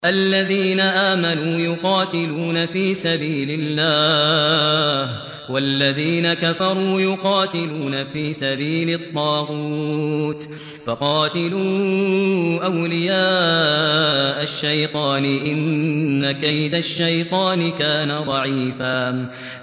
الَّذِينَ آمَنُوا يُقَاتِلُونَ فِي سَبِيلِ اللَّهِ ۖ وَالَّذِينَ كَفَرُوا يُقَاتِلُونَ فِي سَبِيلِ الطَّاغُوتِ فَقَاتِلُوا أَوْلِيَاءَ الشَّيْطَانِ ۖ إِنَّ كَيْدَ الشَّيْطَانِ كَانَ ضَعِيفًا